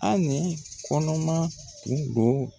Anɛ kɔnɔman kun don